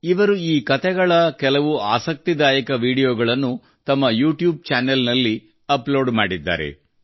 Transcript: ಇವರು ಈ ಕತೆಗಳ ಕೆಲವು ಆಸಕ್ತಿದಾಯ ವಿಡಿಯೋಗಳನ್ನು ತಮ್ಮ ಯೂಟ್ಯೂಬ್ ಚಾನೆಲ್ ನಲ್ಲಿ ಅಪ್ಲೋಡ್ ಮಾಡಿದ್ದಾರೆ